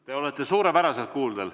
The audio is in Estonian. Te olete suurepäraselt kuuldel.